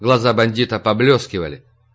глаза бандита поблескивали